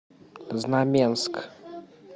знаменск